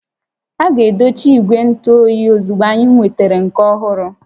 A ga-edochi ígwè ntụ óyiozugbo anyị nwetara nke ọhụrụ